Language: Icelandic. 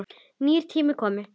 Nýir tímar komu.